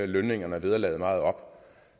lønningerne og vederlaget meget op